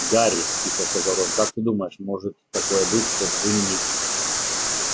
гарри тихо сказал рон как ты думаешь может такое быть что джинни